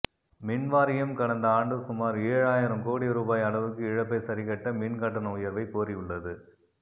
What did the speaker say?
மின்வாரியம் கடந்த ஆண்டு சுமார் ஏழு ஆயிரம் கோடி ரூபாய் அளவுக்கு இழப்பை சரிக்கட்ட மின் கட்டண உயர்வைக் கோரியுள்ளது